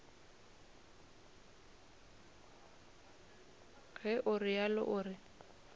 ge o realo o re